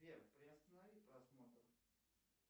сбер приостанови просмотр